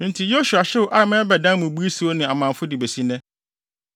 Enti, Yosua hyew Ai ma bɛdanee mmubui siw ne amamfo de besi nnɛ.